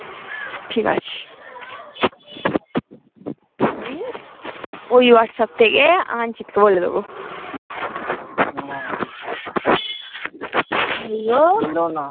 ঠিকা আছে অমি ওই whatsapp থেকে আমার্জিত কে বলে দেবো